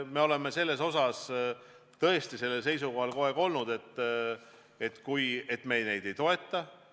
Me oleme tõesti olnud kogu aeg seisukohal, et neid me ei toeta.